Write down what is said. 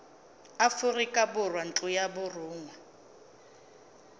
aforika borwa ntlo ya borongwa